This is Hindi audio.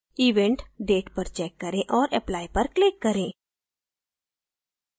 event date पर check करें औऱ apply पर click करें